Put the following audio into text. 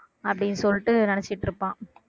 அப்படின்னு சொல்லிட்டு நினைச்சுட்டு இருப்பான்